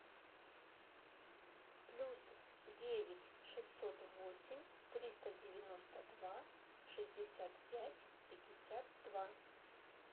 плюс девять шестьсот восемь триста девяносто два шестьдесят пять пятьдесят два